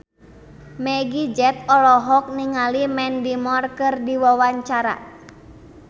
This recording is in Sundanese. Meggie Z olohok ningali Mandy Moore keur diwawancara